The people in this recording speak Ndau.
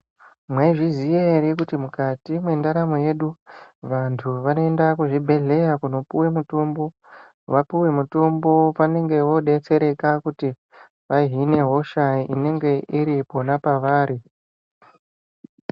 Mwaizviziya ere kuti mukati mwe ndaramo yedu vantu vanoenda ku zvibhedhleya kuno puwa mutombo wapuwa mutombo vanenge vo detsere kuti vahine hosha inenge iripona pavarai.